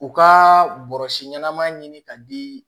U ka bɔrɔsi ɲɛnama ɲini ka di